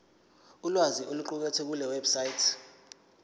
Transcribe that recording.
ulwazi oluqukethwe kulewebsite